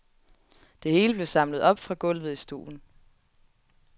Det hele blev samlet op fra gulvet i stuen.